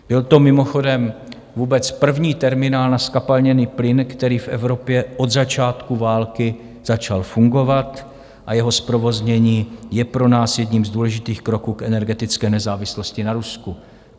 Byl to mimochodem vůbec první terminál na zkapalněný plyn, který v Evropě od začátku války začal fungovat, a jeho zprovoznění je pro nás jedním z důležitých kroků k energetické nezávislosti na Rusku.